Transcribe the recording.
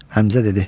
Həmzə dedi: